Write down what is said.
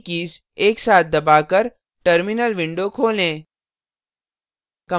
एक साथ दबाकर टर्मिनल विंडो खोलें